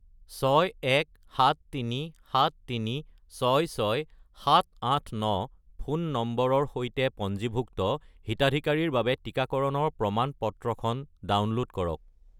61737366789 ফোন নম্বৰৰ সৈতে পঞ্জীভুক্ত হিতাধিকাৰীৰ বাবে টিকাকৰণৰ প্ৰমাণ-পত্ৰখন ডাউনলোড কৰক।